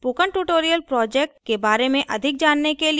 spoken tutorial project के बारें में अधिक जानने के लिए